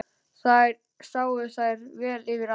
Þar sáu þær vel yfir allt.